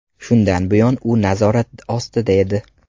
Shundan buyon u nazorat ostida edi.